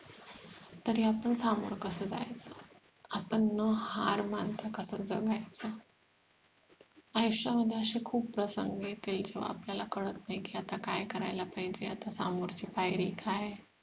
तरी आपण सामोर कसं जायचं. आपण न हार मानता कसं जगायचं आयुष्यामध्ये असे खूप प्रसंग येतील किव्हा आपल्याला कळतं नाही कि आता काय करायला पाहिजे आता सामोरची पायरी काय